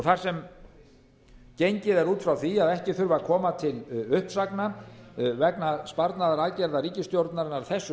þar sem gengið er út frá því að ekki þurfi að koma til uppsagna vegna sparnaðaraðgerða ríkisstjórnarinnar að þessu